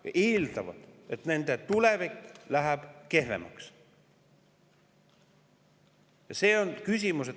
Inimesed eeldavad, et nende tulevik läheb kehvemaks.